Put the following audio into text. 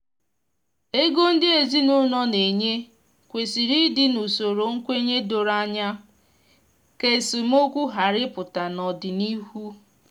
ego ndị ezinụlọ na enye kwesịrị ịdị n’usoro nkwenye doro anya ka esemokwu ghara ịpụta n’ọdịnihu